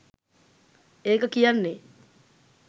ඒක කියන්නෙ